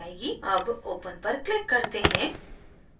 अब open पर click करते हैं